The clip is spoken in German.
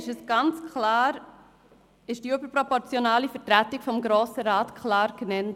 Dort wurde die überproportionale Vertretung des Berner Juras ganz klar genannt.